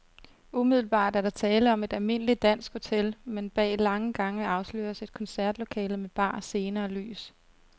Umiddelbart er der tale om et almindeligt dansk hotel, men bag lange gange afsløres et koncertlokale med bar, scene og lys.